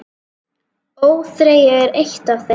ÓÞREYJA er eitt af þeim.